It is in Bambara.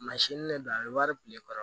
de do a bɛ wari tile kɔrɔ